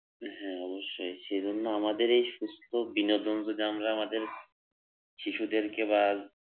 হ্যাঁ অবশ্যই সেই জন্য আমাদের এই সুস্থ বিনোদন যদি আমরা আমাদের শিশুদেরকে বা